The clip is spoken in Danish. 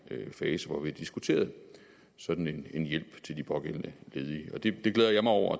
fase hvor vi har diskuteret en sådan hjælp til de pågældende ledige det glæder jeg mig over